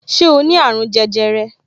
Ṣé o ní àrùn jẹjẹrẹ